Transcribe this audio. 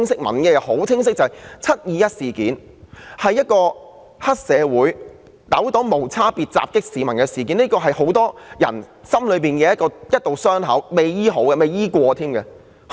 民意非常清晰，"七二一"是黑社會糾黨無差別地襲擊市民的事件，亦是很多人心中一道未治癒甚或從未治療的傷口。